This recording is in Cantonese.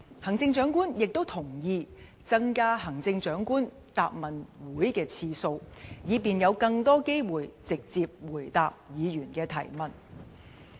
行政長官亦同意增加行政長官答問會的次數，以便有更多機會直接回答議員的提問。